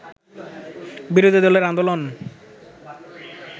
বিরোধী দলের আন্দোলন